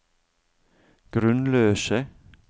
grunnløse